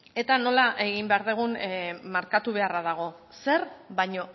eta nola egin behar dugun markatu beharra dago zer baina